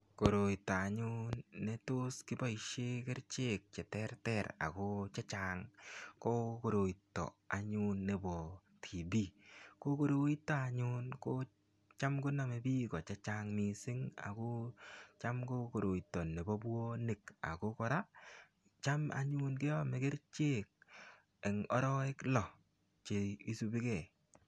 Korioto anyun netos kiboisien kerichek cheterter ago checheng ko koroito anyun nebo TB. Ko koroito anyun ko cham konamei biik, che chang mising ago cham ko koroito nebo bwonik ago kora, cham anyun keome kerichek eng arawek lo che isubikei.